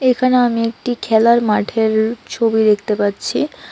এখানে আমি একটি খেলার মাঠের ছবি দেখতে পাচ্ছি।